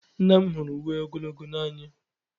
Nna m hụrụ uwe ogologo n'anya.